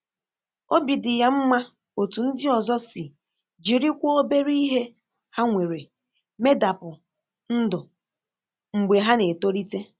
Obi dị ya mma otú ndị ọzọ si jirikwa òbèrè ihe ha nwere medapụ ndụ mgbe ha na-etolite.